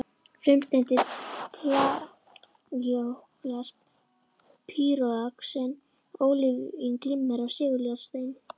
Frumsteindir plagíóklas, pýroxen, ólívín, glimmer seguljárnsteinn